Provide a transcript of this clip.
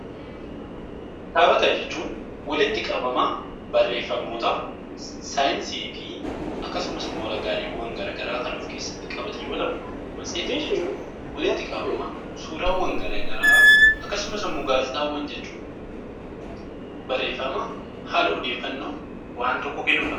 Kitaabota jechuun walitti qabama barreeffamootaa, saayinsii fi akkasumas raagaalee addaa addaa kan of keessatti qabate yoo ta'u, matseetii jechuun walitti qabama suuraawwan garaagaraa akkasumas gaazexaawwan jechuun barreeffama haala odeeffannoo waan tokkoo kennudha.